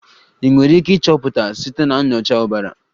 Ị nwere ike ịchọpụta site na nyocha ọbara.